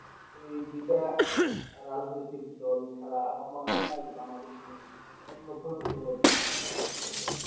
এই যেটা রাজনৈতিক দোল ছাড়া আমার মনে হয়না যে Bangladesh এর অন্য কোনো দোল অত শক্তিশালী আরকি